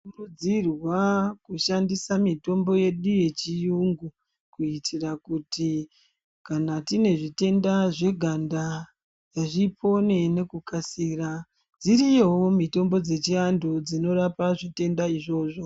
Tinokurudzirwa kushandisa mitombo yedu yechirungu kuitira kuti kana tine zvitenda zveganda zvipone nekukasira dziriyowo mitombo zvechiandu zvinorapa zvitenda izvozvo